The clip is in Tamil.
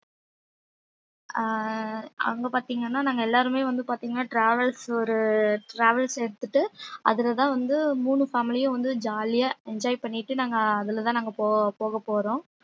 அஹ் அங்க பார்த்தீங்கன்னா நாங்க எல்லாருமே வந்து பார்த்தீங்கன்னா travels ஒரு travels எடுத்துட்டு அதுலதான் வந்து மூணு family யும் வந்து jolly யா enjoy பண்ணிட்டு நாங்க அதுலதான் நாங்க போ~ போகப்போறோம்